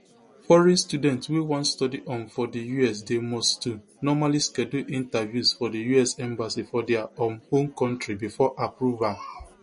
foreign students wey wan study um for di us dey must to normally schedule interviews for di us embassy for dia um home kontri bifor approval